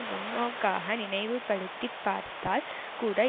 முன்னோக்காக நினைவுபடுத்தி பார்த்தால் கூட